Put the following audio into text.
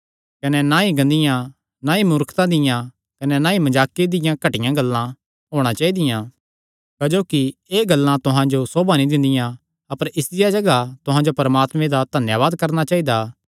कने ना ई गंदियां ना ई मूर्खता दियां कने ना ई मजाके दियां घटिया गल्लां होणा चाइदियां क्जोकि एह़ गल्लां तुहां जो सोभा नीं दिंदियां अपर इसदिया जगाह तुहां जो परमात्मे दा धन्यावाद करणा चाइदा